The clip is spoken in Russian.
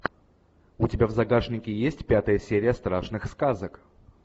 у тебя в загашнике есть пятая серия страшных сказок